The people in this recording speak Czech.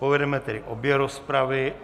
Povedeme tedy obě rozpravy.